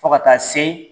Fo ka taa se